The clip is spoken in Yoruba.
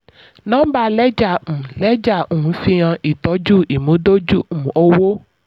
nọ́mbà lẹ́jà um lẹ́jà um fi hàn ìtọ́jú ìmúdójú um owó.